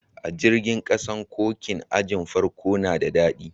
A jirigin kasan, koci'n ajin farko na de dadi.